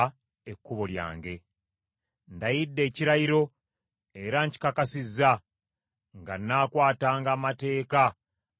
Ndayidde ekirayiro era nkikakasizza nga nnaakwatanga amateeka ag’obutuukirivu bwo.